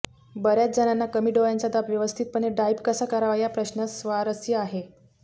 बर्याच जणांना कमी डोळ्यांचा दाब व्यवस्थितपणे डाईप कसा करावा या प्रश्नास स्वारस्य आहे